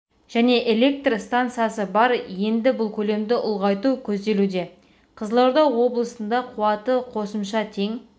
және электр стансасы бар енді бұл көлемді ұлғайту көзделуде қызылорда облысында қуаты қосымша тең